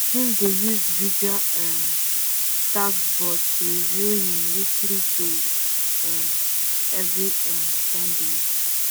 him dey use visual um task board to review him weekly goals um every um sundays